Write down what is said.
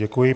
Děkuji.